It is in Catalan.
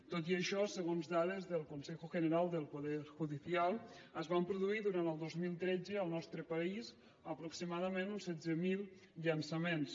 tot i això segons dades del consejo general del poder judicial es van produir durant el dos mil tretze al nostre país aproximadament uns setze mil llançaments